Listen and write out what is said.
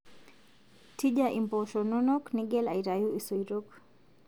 Tija impoosho nonok Nigel aitayu isoitok